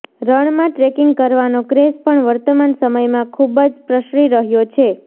રણમાં ટ્રેકીંગ કરવાનો ક્રેઝ પણ વર્તમાન સમયમાં ખૂબ જ પ્રસરી રહયો છે